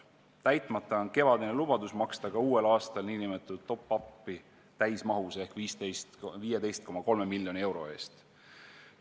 Täitmata on kevadine lubadus maksta ka uuel aastal nn top-up'i täismahus ehk 15,3 miljoni euro eest.